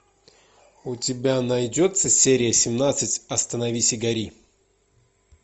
у тебя найдется серия семнадцать остановись и гори